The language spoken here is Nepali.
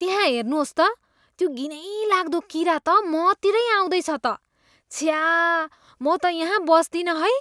त्यहाँ हेर्नुहोस् त, त्यो घिनैलाग्दो किरा त मतिरै आउँदैछ त। छ्या! म त यहाँ बस्दिनँ है।